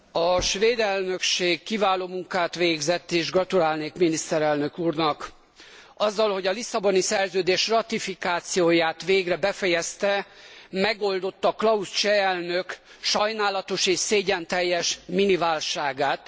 A svéd elnökség kiváló munkát végzett, és gratulálnék miniszterelnök úrnak. Azzal, hogy a Lisszaboni Szerződés ratifikációját végre befejezte, megoldotta Klaus cseh elnök sajnálatos és szégyenteljes miniválságát.